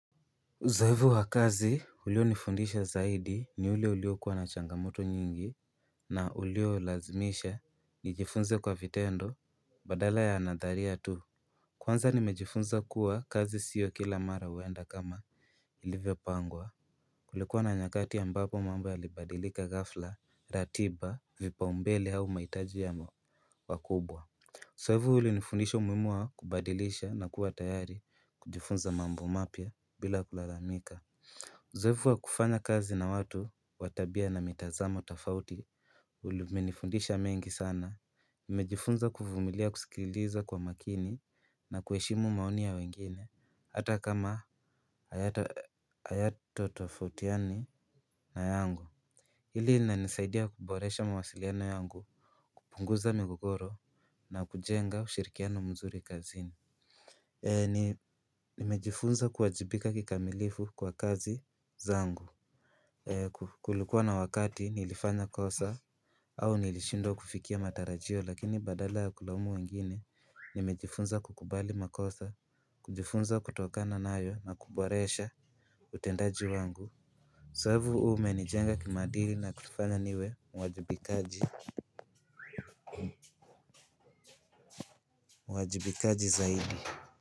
Uzoefu wa kazi ulionifundisha zaidi ni ule uliokuwa na changamoto nyingi. Na uliolazimisha nijifunze kwa vitendo badala ya nadharia tu. Kwanza nimejifunza kuwa kazi sio kila mara huenda kama ilivyopangwa. Kulikuwa na nyakati ambapo mambo yalibadilika ghafla ratiba vipaumbele au mahitaji ya wakubwa. Uzoefu ulinifundisha umuhimu wa kubadilisha na kuwa tayari kujifunza mambo mapya bila kulalamika. Zoefu wa kufanya kazi na watu wa tabia na mitazamo tofauti umenifundisha mengi sana. Nimejifunza kuvumilia kusikiliza kwa makini na kuheshimu maoni ya wengine hata kama hayatatofautiana na yangu. Hili inanisaidia kuboresha mawasiliano yangu, kupunguza migogoro na kujenga ushirikiano mzuri kazini. Nimejifunza kuwajibika kikamilifu kwa kazi zangu. Kulikuwa na wakati nilifanya kosa au nilishindwa kufikia matarajio lakini badala ya kulaumu wengine nimejifunza kukubali makosa, kujifunza kutokana nayo na kuboresha utendaji wangu zoefu huu umenijenga kimaadili na kutufanya niwe mwajibikaji zaidi.